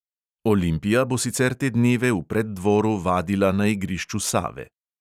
Olimpija bo sicer te dneve v preddvoru vadila na igrišču save.